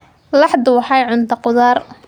Laxdu waxay cuntaa khudaar.